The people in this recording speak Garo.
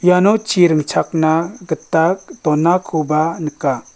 iano chi ringchakna gita donakoba nika.